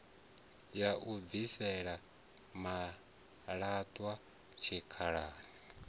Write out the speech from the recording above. ya u bvisela malaṱwa tshikhalani